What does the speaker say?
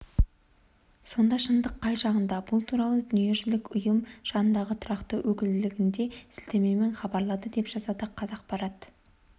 сонда шындық қай жағында бұл туралы дүниежүзілік ұйым жанындағы тұрақты өкілдігінде сілтемемен хабарлады деп жазады қазақпарат